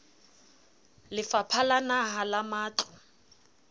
lefapha la naha la matlo